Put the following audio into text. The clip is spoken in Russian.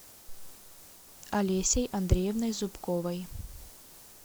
алесей андреевной зубковой